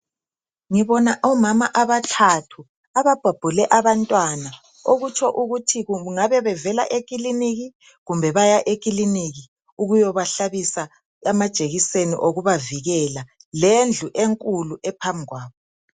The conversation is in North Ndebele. ngibona omama abathathu ababhabhule abantwana okutsho ukuthi kungabe bavela ekiliniki kumbe baya ekiliniki ukuyabahlabisa amajekiseni okubavikela lendlu enkulu ephambi kwabo